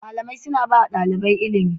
Malamai suna ba ɗalibai ilimi